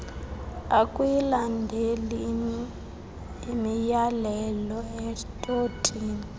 akuyilandeli imyalelo estotini